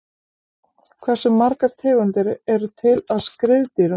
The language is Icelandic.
hversu margar tegundir eru til af skriðdýrum